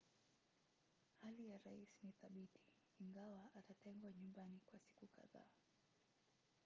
hali ya rais ni thabiti ingawa atatengwa nyumbani kwa siku kadhaa